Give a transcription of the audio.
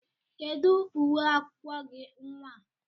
Kedụ uwe akwụkwọ gị nnwa a?